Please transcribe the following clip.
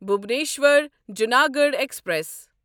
Bhubaneswar Junagadh express